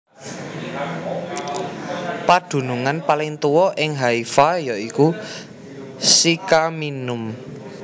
Padunungan paling tuwa ing Haifa ya iku Sycaminum